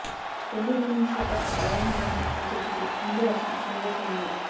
రెండో ఇన్నింగ్స్లో కాస్త బాగానే ఆడినా ప్రత్యర్థికి ముందు లక్ష్యం చిన్నదైపోయంది